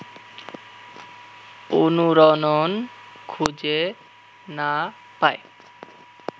অনুরণন খুঁজে না পায়